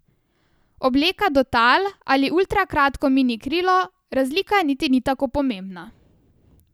Obleka do tal ali ultrakratko minikrilo, razlika niti ni tako pomembna.